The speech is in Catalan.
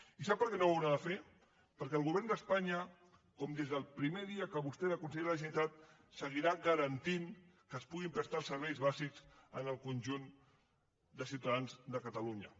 i sap per què no ho haurà de fer perquè el govern d’espanya com des del primer dia que vostè era conseller de la generalitat seguirà garantint que es puguin prestar els serveis bàsics al conjunt de ciutadans de catalunya